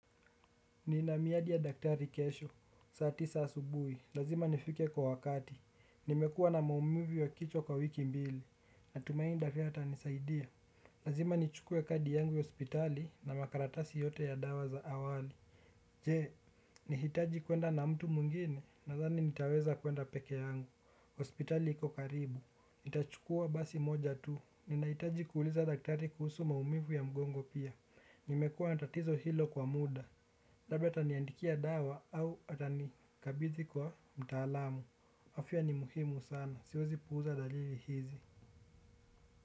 Nina miadi ya daktari kesho. Saa tisa asubuhi. Lazima nifike kwa wakati. Nimekuwa na maumivu ya kichwa kwa wiki mbili. Natumahi daktari atanisaidia. Lazima nichukuwe kadi yangu ya hospitali na makaratasi yote ya dawa za awali. Je, nahitaji kwenda na mtu mwingine nathani nitaweza kwenda peke yangu, hospitali iko karibu. Nitachukua basi moja tu, ninahitaji kuuliza daktari kuhusu maumivu ya mgongo pia, nimekua na tatizo hilo kwa muda. Labda ataniandikia dawa au atanikabidhi kwa mtaalamu, afya ni muhimu sana, siwezi puuza dalili hizi.